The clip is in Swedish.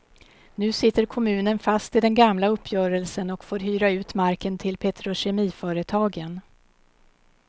Nu sitter kommunen fast i den gamla uppgörelsen och får hyra ut marken till petrokemiföretagen.